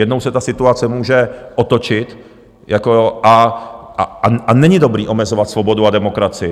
Jednou se ta situace může otočit a není dobré omezovat svobodu a demokracii.